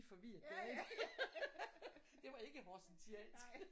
Forvirrede der ikke det var ikke horsensiansk